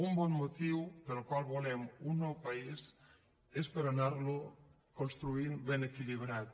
un bon motiu pel qual volem un nou país és per anar lo construint ben equilibrat